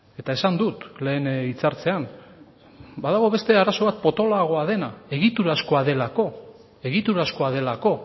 eta esan dut lehen hitzartzean badago beste arazo bat potoloagoa dena egiturazkoa delako egiturazkoa delako